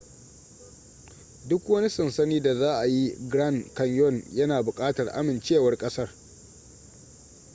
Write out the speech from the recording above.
duk wani sansani da za a yi grand canyon yana bukatar amincewar kasar